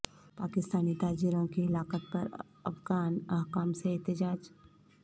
پاکستانی تاجروں کی ہلاکت پر افغان حکام سے احتجاج